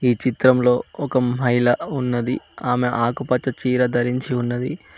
ఈ చిత్రంలో ఒక మహిళ ఉన్నది ఆమె ఆకుపచ్చ చీర ధరించి ఉన్నది.